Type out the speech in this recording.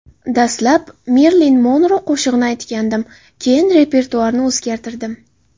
Dastlab Merilin Monro qo‘shig‘ini aytgandim, keyin repertuarni o‘zgartirdim.